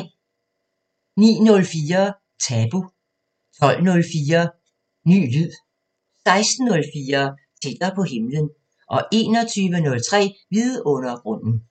09:04: Tabu 12:04: Ny lyd 16:04: Tættere på himlen 21:03: Vidundergrunden